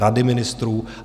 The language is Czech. Rady ministrů?